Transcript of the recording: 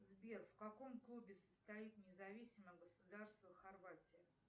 сбер в каком клубе состоит независимое государство хорватия